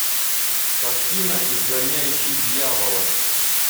картина изгоняющий дьявола